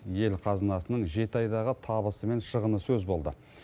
ел қазынасының жеті айдағы табысы мен шығыны сөз болды